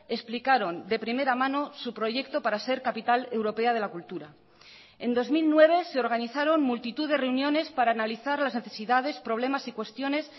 explicaron de primera mano su proyecto para ser capital europea de la cultura en dos mil nueve se organizaron multitud de reuniones para analizar las necesidades problemas y cuestiones